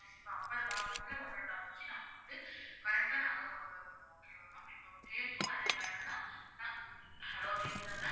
தான் upper box க்குள்ள ஒண்ணு ஒண்ணா வச்சு நாங்க வந்து correct ஆ நாங்க கொண்டு வந்திருவோம் okay வா ma'am cake உம் அது என்னன்னா நாங்க hello கேக்குதா ma'am